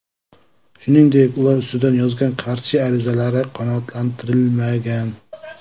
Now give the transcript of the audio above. Shuningdek, ular ustidan yozgan qarshi arizalari qanoatlantirilmagan.